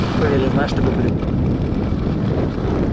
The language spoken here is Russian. поверь я знаю что говорю